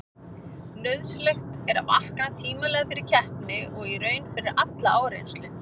Nauðsynlegt er að vakna tímanlega fyrir keppni og í raun fyrir alla áreynslu.